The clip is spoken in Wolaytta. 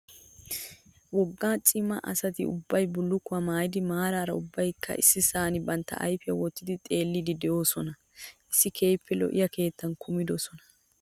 Wogga wogga cima asati ubbayi billukkuwaa maayyidi maaraara ubbayikka issisan bantta ayipiyaa wottidi xeelliddi doosona. issi keehippe lo'iyaa keettan kumidosona.